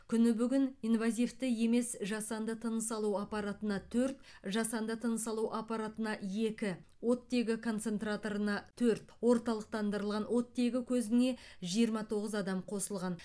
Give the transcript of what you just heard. күні бүгін инвазивті емес жасанды тыныс алу аппаратына төрт жасанды тыныс алу аппаратына екі оттегі концентраторына төрт орталықтандырылған оттегі көзіне жиырма тоғыз адам қосылған